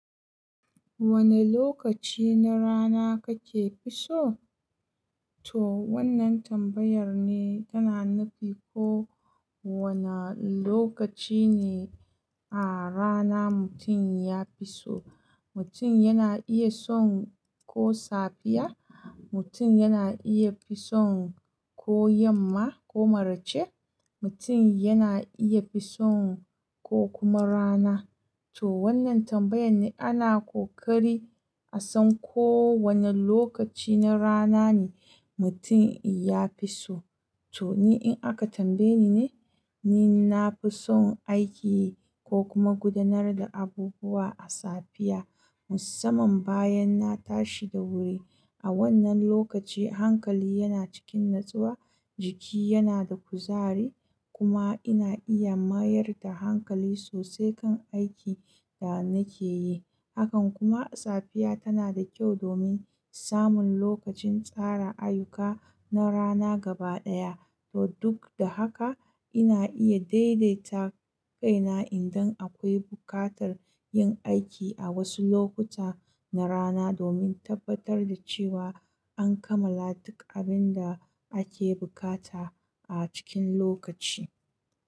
Wane lokaci na rana kake fi so? To wannan tambayar ne tana nufi ko wane lokaci ne a rana mutum ya fi so. Mutum yana iya son ko safiya, mutum yana iya fi son ko yamma ko maraice, mutum yana iya fi son ko kuma rana. To wannan tambayar ne ana kokari a san ko wane lokaci na rana ne mutum ya fi so. To ni in aka tambaye ni ne, ni nafi son aiki ko kuma gudanar da abubuwa a safiya musamman bayan na tashi da wuri. A wannan lokaci hankali yana cikin natsuwa, jiki yana da kuzari kuma ina iya mayar da hankali sosai kan aikin da nake yi. Hakan kuma safiya tana da kyau domin samun lokacin tsara ayyuka na rana gaba ɗaya. To duk da haka ina iya daidaita kaina idan akwai buƙatar yin aiki a wasu lokuta na rana domin tabbatar da cewa an kammala duk abin da ake buƙata a cikin lokaci.